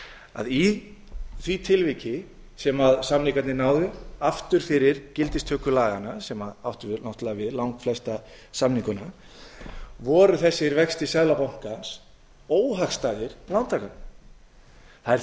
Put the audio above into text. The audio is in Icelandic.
að í því tilviki sem samningarnir náðu aftur fyrir gildistöku laganna sem áttu við langflesta samninguna voru þessir vextir seðlabankans óhagstæðir lántakendum það er